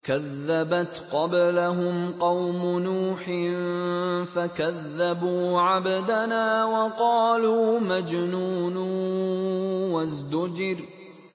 ۞ كَذَّبَتْ قَبْلَهُمْ قَوْمُ نُوحٍ فَكَذَّبُوا عَبْدَنَا وَقَالُوا مَجْنُونٌ وَازْدُجِرَ